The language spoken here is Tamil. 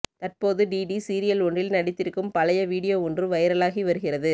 தற்போது டிடி சீரியல் ஒன்றில் நடித்திருக்கும் பழைய வீடியோ ஒன்று வைரலாகி வருகிறது